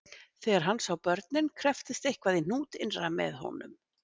Þegar hann sá börnin krepptist eitthvað í hnút innra með honum